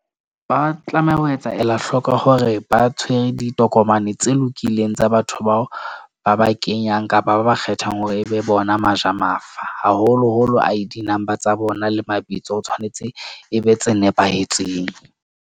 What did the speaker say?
Ba tlameha ho etsa ela hlooko hore ba tshwere ditokomane tse lokileng tsa batho, bao ba ba kenyang kapa ba ba kgethang hore ebe bona baja mafa. Haholoholo I_D number tsa bona le mabitso o tshwanetse e be tse nepahetseng.